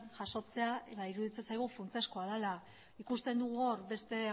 jasotzea ba iruditzen zaigu funtsezkoa dela ikusten dugu hor beste